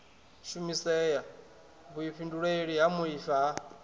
shumisea vhuifhinduleli ha muaifa ha